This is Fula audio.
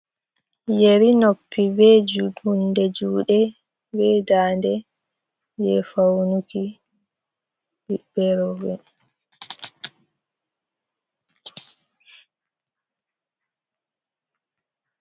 Yeri noppi be hunde juuɗe, be daande, jey fawnuki ɓiɓɓe rowɓe.